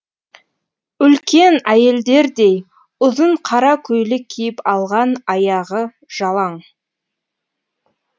үлкен әйелдердей ұзын қара көйлек киіп алған аяғы жалаң